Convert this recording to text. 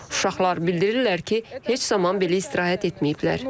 Uşaqlar bildirirlər ki, heç zaman belə istirahət etməyiblər.